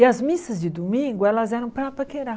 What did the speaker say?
E as missas de domingo elas eram para paquerar.